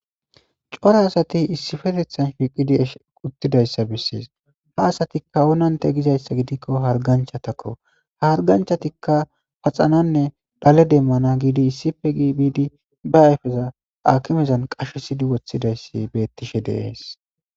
Cora asati issifetethan hiiqidi esh uttidayssa bessees ha asatikka onante gizayssa gidikko harganchatakko harganchatikka paxananne dhale demmana giidi issife gii biidi ba ayfeza akimezan qashesidi woththidayssi bettishe deees.